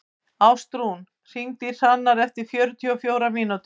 Ástrún, hringdu í Hrannar eftir fjörutíu og fjórar mínútur.